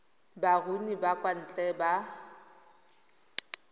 baruni ba kwa ntle ba